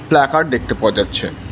Placard দেখতে পাওয়া যাচ্ছে।